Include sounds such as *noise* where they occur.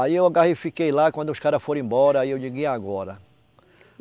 Aí eu *unintelligible* lá, quando os caras foram embora, aí eu digo e agora.